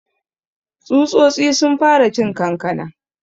Tsutsotsi sun fara cin kankanan.